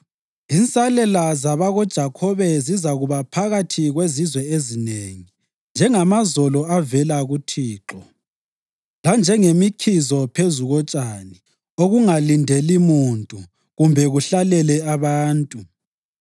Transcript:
Insalela zabakoJakhobe zizakuba phakathi kwezizwe ezinengi njengamazolo avela kuThixo, lanjengemkhizo phezu kotshani, okungalindeli muntu kumbe kuhlalele abantu.